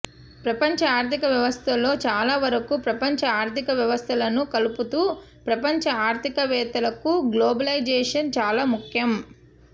ప్రపంచ ఆర్ధికవ్యవస్థలో చాలా వరకు ప్రపంచ ఆర్థిక వ్యవస్థలను కలుపుతూ ప్రపంచ ఆర్థికవేత్తలకు గ్లోబలైజేషన్ చాలా ముఖ్యం